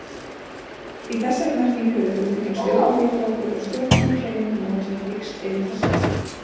Í þessari merkingu eru hugtökin stjórnmálaflokkur og stjórnmálahreyfing notuð á víxl yfir það sama.